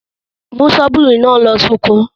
Mú ṣọ́bìrì náà lọ sóko.